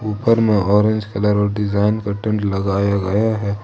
ऊपर मैं orange colour और डिजाइन का टेंट लगाया गया है।